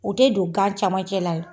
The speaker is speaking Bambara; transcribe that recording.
U te don gan camancɛ la dɛ!